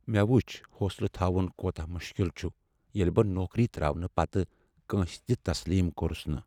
مےٚ وُچھ حوصلہٕ تھاون کوٗتاہ مُشکل ییٚلہ بہٕ نوکری ترٛٲوٕنہٕ پتٕہ کٲنٛسہ تہِ تسلیم کوٚرس نہٕ ۔